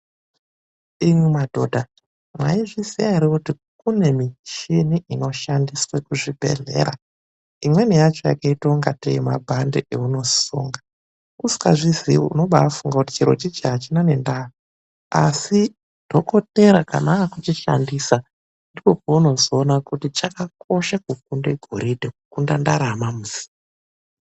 Imwi mwadhodha, mwaizviziya eŕe kuti kune michini inoshandiswe kuzvibhedhlera imweni yacho yakaita kungatee mabhande ewunosunga. Usingazvizii unobafunga kuti chiro ichi hachina ndaa asi dhokotera kana akuchishandisa ndipo paunozoona kuti chakakosha kukunda ghoridhe kukunda ndarama.